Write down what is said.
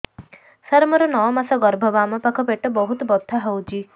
ସାର ମୋର ନଅ ମାସ ଗର୍ଭ ବାମପାଖ ପେଟ ବହୁତ ବଥା ହଉଚି